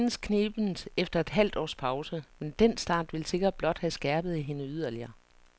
Hun vandt senest knebent efter et halvt års pause, men den start vil sikkert blot have skærpet hende yderligere.